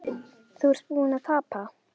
Þú ert búinn að tapa